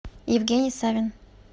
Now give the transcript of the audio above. евгений савин